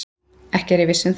Ekki er ég viss um það.